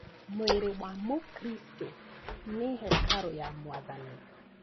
Mwĩrĩ wa mũkristo nĩ hekarũ ya mwathani.